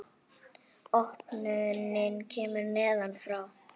Opnunin kemur neðan frá.